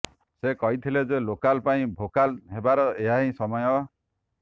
ସେ କହିଥିଲେ ଯେ ଲୋକାଲ ପାଇଁ ଭୋକାଲ ହେବାର ଏହାହିଁ ସମୟ